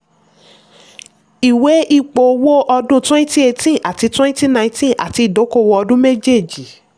ìwé ipò owó ọdún twenty eighteen àti twenty nineteen àti ìdókòwò ọdún méjèèjì.